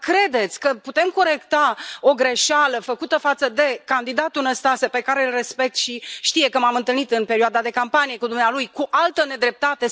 Dar credeți că putem corecta o greșeală făcută față de candidatul Năstase pe care îl respect și știe, că m am întâlnit în perioada de campanie cu dumnealui cu altă nedreptate?